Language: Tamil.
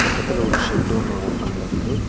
பக்கத்துல ஒரு ஷெட் ஒன்னு ஓபன்ல இருக்கு.